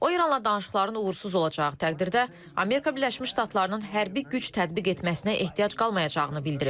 O İranla danışıqların uğursuz olacağı təqdirdə Amerika Birləşmiş Ştatlarının hərbi güc tətbiq etməsinə ehtiyac qalmayacağını bildirib.